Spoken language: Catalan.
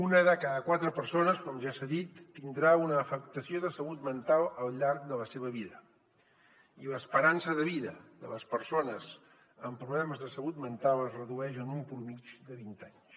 una de cada quatre persones com ja s’ha dit tindrà una afectació de salut mental al llarg de la seva vida i l’esperança de vida de les persones amb problemes de salut mental es redueix en una mitjana de vint anys